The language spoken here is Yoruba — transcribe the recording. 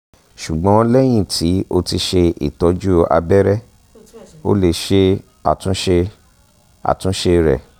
ṣugbọn lẹhin ti o ti ṣe itọju abẹrẹ o le ṣe atunṣe atunṣe rẹ